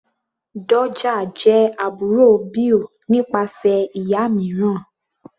Doja jẹ́ àbúrò Bill nípasẹ̀ ìyá mìíràn.